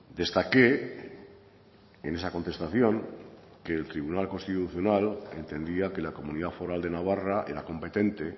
destaqué en esa contestación que el tribunal constitucional entendía que la comunidad foral de navarra era competente